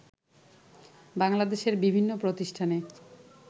বাংলাদেশের বিভিন্ন প্রতিষ্ঠানে